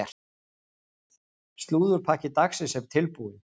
Slúðurpakki dagsins er tilbúinn.